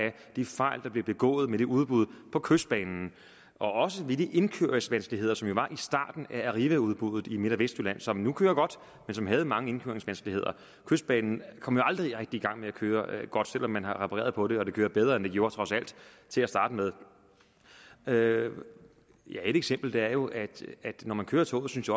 de fejl der blev begået med udbuddet på kystbanen og også af de indkøringsvanskeligheder som der var i starten af arrivaudbuddet i midt og vestjylland som nu kører godt men som havde mange indkøringsvanskeligheder kystbanen kom jo aldrig rigtig i gang med at køre godt selv om man har repareret på det og det kører bedre end det gjorde til at starte med ja et eksempel er jo at når man kører toget synes